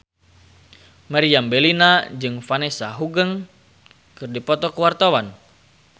Meriam Bellina jeung Vanessa Hudgens keur dipoto ku wartawan